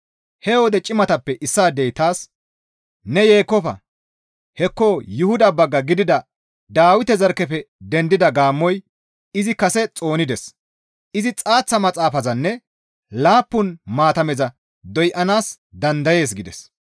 He wode cimatappe issaadey taas, «Ne yeekkofa! Hekko Yuhuda bagga gidida Dawite zarkkefe dendida gaammoy izi kase xoonides; izi xaaththa maxaafazanne laappun maatameza doyanaas dandayees» gides.